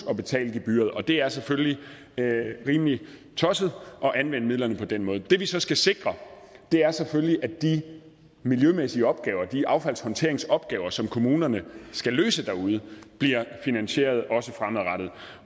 at betale gebyret og det er selvfølgelig rimelig tosset at anvende midlerne på den måde det vi så skal sikre er selvfølgelig at de miljømæssige opgaver de affaldshåndteringsopgaver som kommunerne skal løse derude bliver finansieret også fremadrettet